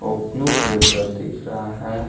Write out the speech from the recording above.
वो blue colour का दिख रहा है।